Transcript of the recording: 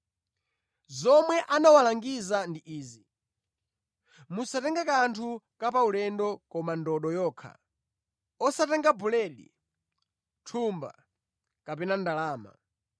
Zomwe anawalangiza ndi izi: “Musatenge kanthu ka paulendo koma ndodo yokha; osatenga buledi, thumba, kapena ndalama.